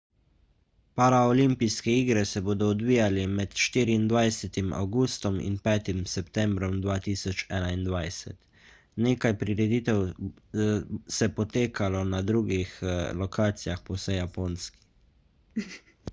paraolimpijske igre se bodo odvijale med 24 avgustom in 5 septembrom 2021 nekaj prireditev se potekalo na drugih lokacijah po vsej japonski